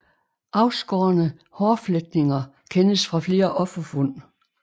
Afskårede hårfletninger kendes fra flere offerfund